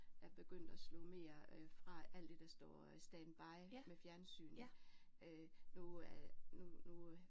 Er begyndt at slå mere fra alt det der står standby med fjernsyn øh nu er nu nu